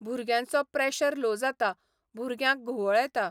भुरग्यांचो pressure low जाता, भुरग्यांक घुंवळ येता